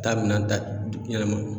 Taa minan ta du yɛnɛma